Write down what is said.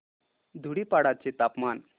धुडीपाडा चे तापमान